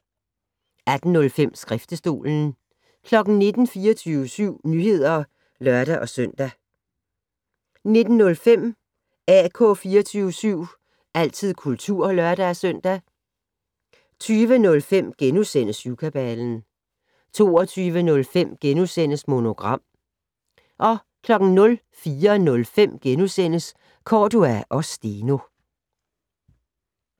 18:05: Skriftestolen 19:00: 24syv Nyheder (lør-søn) 19:05: AK 24syv - altid kultur (lør-søn) 20:05: Syvkabalen * 22:05: Monogram * 04:05: Cordua & Steno *